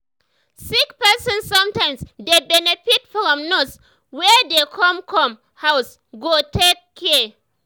sick person sometimes dey benefit from nurse wey dey come come house go take care.